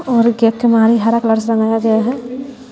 और हरा कलर से रंगाया गया है।